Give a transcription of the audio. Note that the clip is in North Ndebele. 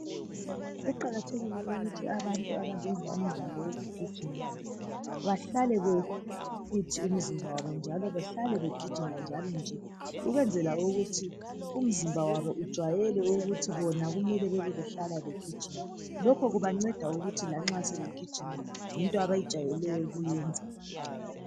Kuqakathekile ukuthi abantu abayenza umdlalo wokugijima bahlale befithi umzimba wabo njalo bahlale begijima njalo nje ukwenzela ukuthi umzimba wabo ujayele ukuthi bona kumele bebe behlala begijima. Lokho kubanceda ukuthi lanxa sebegijima yinto abayijayeleyo ukuyenza.